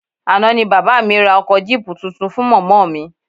Àná ni bàbá mi ra ọkọ jíìpù tuntun fún mọ̀mọ́ mi